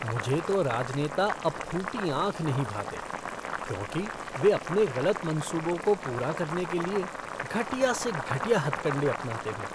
मुझे तो राजनेता अब फूटी आँख नहीं भाते, क्योंकि वे अपने गलत मंसूबों को पूरा करने के लिए घटिया से घटिया हथकंडे अपनाते हैं।